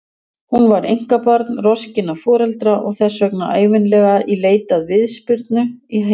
Hún var einkabarn roskinna foreldra og þess vegna ævinlega í leit að viðspyrnu í heiminum.